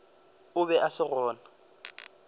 o be a se gona